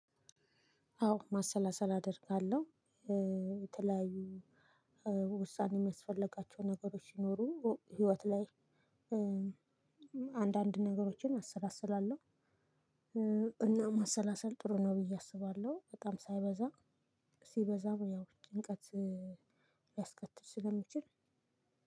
አዎ ማሰላሰል አደርጋለሁ። የተለያዩ ውሳኔ የሚያስፈልጋቸው ነገሮች ሲኖሩ ህይወት ላይ- አንዳንድ ነገሮችን አሰላስላለሁ። እና ማሰላሰል ጥሩ ነው ብዬ አስባለሁ።- በጣም ሳይበዛ ሲበዛ ያው ጭንቀት ሊያስከትል ስለሚችል